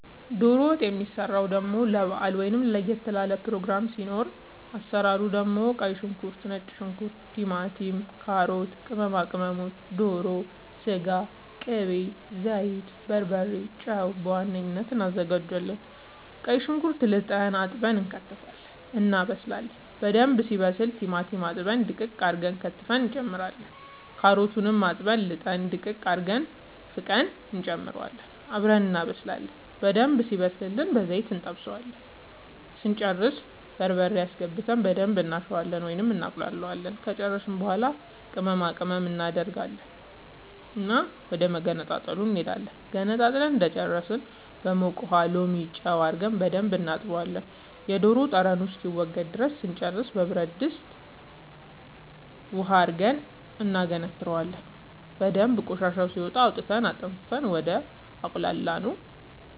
ዶሮ ወጥ የሚሰራው ደሞ ለባአል ወይም ለየት ላለ ፕሮግራም ሲኖር አሰራሩ መጀመሪያ ቀይ ሽንኩርት ነጭ ሽንኩርት ቲማቲም ካሮት ቅመማ ቅመሞች ዶሮ ስጋ ቅቤ ዘይት በርበሬ ጨው በዋነኝነት አናዘጋጃለን ቀይ ሽንኩርት ልጠን አጥበን እንከትፋለን እናበስላለን በደንብ ሲበስል ቲማቲም አጥበን ድቅቅ አርገን ከትፈን እንጨምራለን ካሮቱንም አጥበን ልጠን ድቅቅ አርገን ፍቀን እንጨምረውና አብረን እናበስላለን በደንብ ሲበስልልን በዘይት እንጠብሰዋለን ስንጨርስ በርበሬ አስገብተን በደንብ እናሸዋለን ወይም እናቁላለዋለን ከጨረስን በኃላ ቅመማ ቅመም እናደርግና ዶሮ ወደመገንጠሉ እንሄዳለን ገንጥለን እንደጨረስን በሞቀ ውሃ ሎሚ ጨው አርገን በደንብ እናጥበዋለን የዶሮ ጠረኑ እስከሚወገድ ድረስ ስንጨርስ በብረድስት ውሃ አድርገን እናገነትረዋለን በደንብ ቆሻሻው ሲወጣ አውጥተን አጠንፍፈን ወደ አቁላላነው